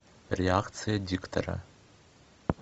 реакции диктора